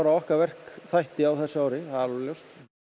okkar verkþætti á þessu ári það er alveg ljóst